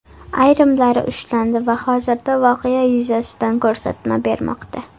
Ayrimlari ushlandi va hozirda voqea yuzasidan ko‘rsatma bermoqda.